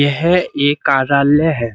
यह एक कारालय है।